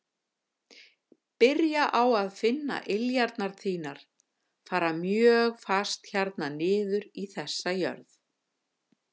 Byrja á að finna iljarnar þínar fara mjög fast hérna niður í þessa jörð.